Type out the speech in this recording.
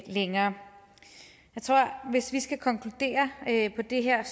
længere jeg tror hvis vi skal konkludere på det her at